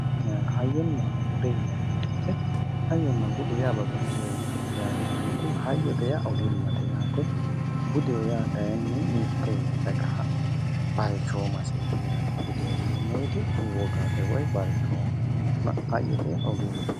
Hayyonna bude yinneemmo woyte hayyonna budu babbaxxinorichoti yaate lamunku, hayyote yaa ogimmate yaate, budeho yaa kayinni mite dagaha balchoomaseti yaate, budeho yinneemmo woyte woggate woyi balchoomaho ,hayyote yaa ogimmate.